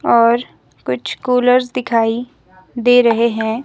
और कुछ कूलर्स दिखाई दे रहे हैं।